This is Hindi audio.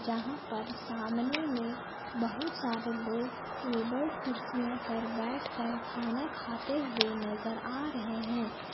जहां पर सामने में बहुत सारे लोग टेबल कुर्सियों पर बैठकर खाना खाते हुए नजर आ रहे हैं।